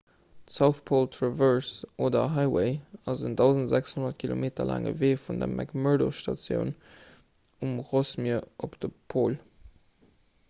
d'south pole traverse oder highway ass en 1 600 km laange wee vun der mcmurdo station um rossmier op de pol